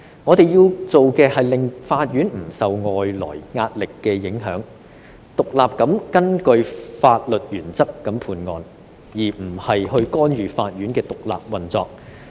我們要做的事情，是令到法院不會受外來壓力影響，獨立地根據法律原則判案，而不是干預法院的獨立運作。